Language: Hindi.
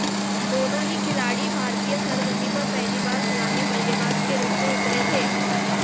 दोनों ही खिलाड़ी भारतीय सरजमीं पर पहली बार सलामी बल्लेबाज के रूप में उतरे थे